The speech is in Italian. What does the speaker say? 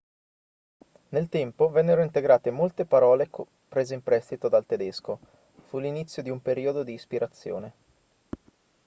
nel tempo vennero integrate molte parole prese in prestito dal tedesco fu l'inizio di un periodo di ispirazione